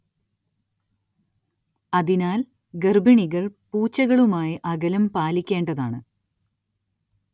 അതിനാൽ ഗർഭിണികൾ പൂച്ചകളുമായി അകലം പാലിക്കേണ്ടതാണ്‌.